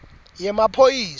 yemaphoyisa